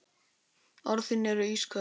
Orð þín eru ísköld.